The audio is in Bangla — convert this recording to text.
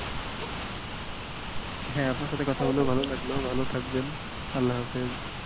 হ্যাঁ আপনার সাথে কথা বলে ভালো লাগলো ভালো থাকবেন আল্লা হাফিস।